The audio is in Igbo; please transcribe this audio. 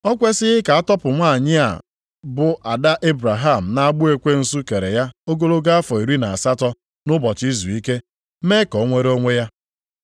O kwesighị ka a tọpụ nwanyị a bụ ada Ebraham nʼagbụ ekwensu kere ya ogologo afọ iri na asatọ, nʼụbọchị izuike, mee ka o nwere onwe ya?”